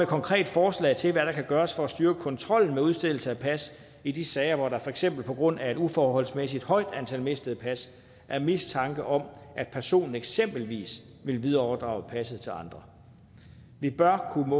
konkret forslag til hvad der kan gøres for at styrke kontrollen med udstedelse af pas i de sager hvor der for eksempel på grund af et uforholdsmæssigt højt antal mistede pas er mistanke om at personen eksempelvis vil videreoverdrage passet til andre vi bør kunne